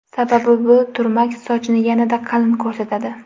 Sababi bu turmak sochni yanada qalin ko‘rsatadi.